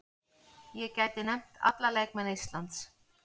Ég gæti nefnt alla leikmenn Íslands.